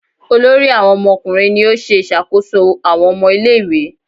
Olórí àwọn ọmọkùnrin ní o ṣe ìṣàkóso àwọn ọmọ ilé ìwé.